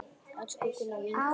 Elsku Gunna, vinkona okkar!